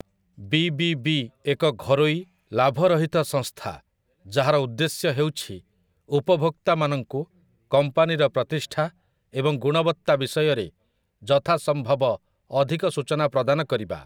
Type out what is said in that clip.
ବିବିବି ଏକ ଘରୋଇ, ଲାଭରହିତ ସଂସ୍ଥା ଯାହାର ଉଦ୍ଦେଶ୍ୟ ହେଉଛି ଉପଭୋକ୍ତାମାନଙ୍କୁ କମ୍ପାନୀର ପ୍ରତିଷ୍ଠା ଏବଂ ଗୁଣବତ୍ତା ବିଷୟରେ ଯଥାସମ୍ଭବ ଅଧିକ ସୂଚନା ପ୍ରଦାନ କରିବା ।